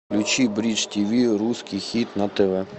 включи бридж тиви русский хит на тв